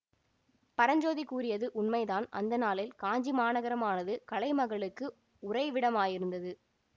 பரஞ்சோதி கூறியது உண்மைதான் அந்த நாளில் காஞ்சி மாநகரமானது கலைமகளுக்கு உறைவிடமாயிருந்தது